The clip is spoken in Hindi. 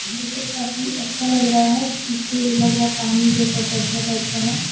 ये सब काफी अच्छा लग रहा है पीछे लग रहा है पानी जैसा गड्ढे टाइप का है।